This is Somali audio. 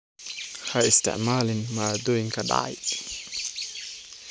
Ha isticmaalin maaddooyinka dhacay.